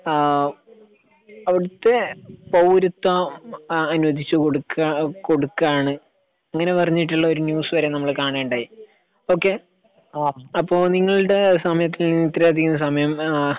ഏഹ് അവിടുത്തെ പൗരത്വം ഏഹ് അനുവദിച്ചു കൊടുക്കാ കൊടുക്കാണ് ഇങ്ങനെ പറഞ്ഞിട്ടുള്ള ഒരു ന്യൂസ്‌ വരെ നമ്മള് കാണുകയുണ്ടായി. ഓക്കേയ് അപ്പൊ നിങ്ങളുടെ സമയത്തിൽ നിന്ന് ഇത്ര അധികം സമയം ഏഹ്